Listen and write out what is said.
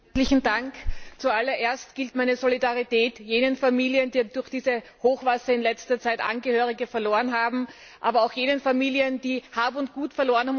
Frau Präsidentin! Zu allererst gilt meine Solidarität jenen Familien, die durch die Hochwasser in letzter Zeit Angehörige verloren haben, aber auch jenen Familien, die Hab und Gut verloren haben.